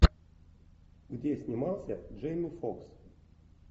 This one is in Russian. где снимался джейми фокс